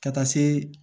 Ka taa se